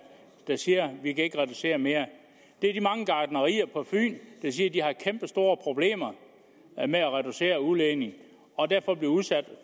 der siger at de ikke kan reducere mere det er de mange gartnerier på fyn der siger at de har kæmpestore problemer med at reducere udledningen og derfor bliver udsat